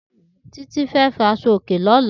Titi fè fi àṣọ̀ óké lọ̀lá